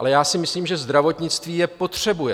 Ale já si myslím, že zdravotnictví je potřebuje.